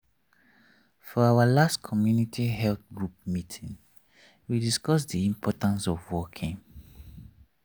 for our last community health group meeting we discuss the importance of walking.